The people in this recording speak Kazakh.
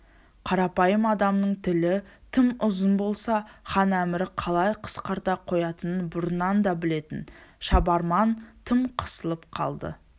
қарапайым адамның тілі тым ұзын болса хан әмірі қалай қысқарта қоятынын бұрыннан да білетін шабарман тым қысылып қалды